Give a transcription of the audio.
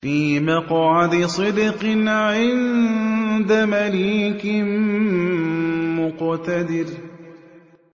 فِي مَقْعَدِ صِدْقٍ عِندَ مَلِيكٍ مُّقْتَدِرٍ